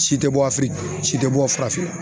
Si tɛ bɔ si tɛ bɔ farafinna